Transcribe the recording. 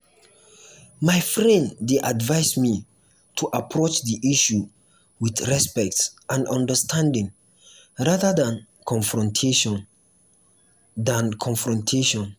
my friend dey advise me to approach the issue with respect and understanding rather than confrontation. than confrontation.